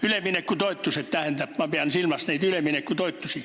Üleminekutoetused, tähendab, ma pean silmas üleminekutoetusi.